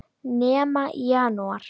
Nema í janúar.